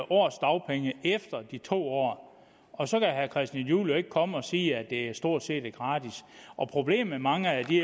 års dagpenge efter de to år og så kan herre christian juhl jo ikke komme og sige at det stort set er gratis problemet med mange af de